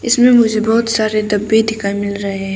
इसमें मुझे बहुत सारे डब्बे दिखाई मिल रहे हैं।